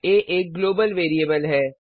आ एक global variable है